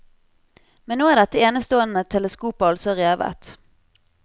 Men nå er dette enestående teleskopet altså revet.